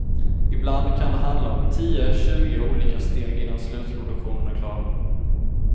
Ibland kan det handla om tio, tjugo olika steg innan slutprodukten är klar.